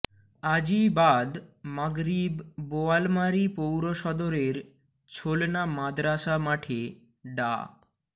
আজই বাদ মাগরিব বোয়ালমারী পৌরসদরের ছোলনা মাদরাসা মাঠে ডা